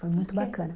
Foi muito bacana.